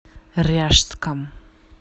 ряжском